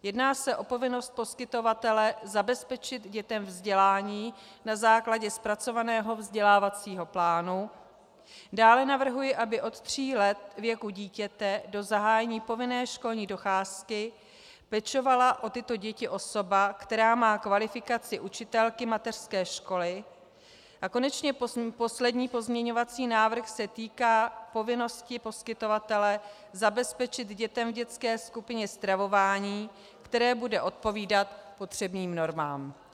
Jedná se o povinnost poskytovatele zabezpečit dětem vzdělání na základě zpracovaného vzdělávacího plánu, dále navrhuji, aby od tří let věku dítěte do zahájení povinné školní docházky pečovala o tyto děti osoba, která má kvalifikaci učitelky mateřské školy, a konečně poslední pozměňovací návrh se týká povinnosti poskytovatele zabezpečit dětem v dětské skupině stravování, které bude odpovídat potřebným normám.